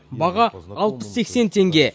баға алпыс сексен теңге